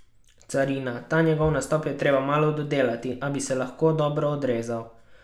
Carina: "Ta negotov nastop je treba malo dodelati, a bi se lahko dobro odrezal.